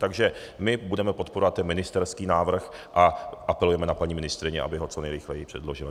Takže my budeme podporovat ten ministerský návrh a apelujeme na paní ministryni, aby ho co nejrychleji předložila.